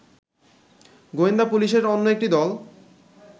গোয়েন্দা পুলিশের অন্য একটি দল